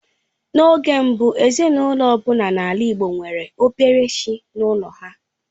N'oge mbụ, ezinaụlọ ọ bụla n'ala Igbo nwere obere chi n'ụlọ ha.